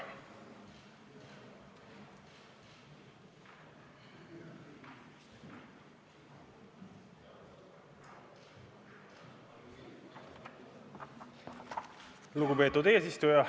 Lugupeetud eesistuja!